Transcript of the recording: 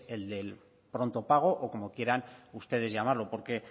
el del pronto pago o como quieran ustedes llamarlo porque